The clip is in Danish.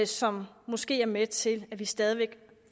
som måske er med til at vi stadig væk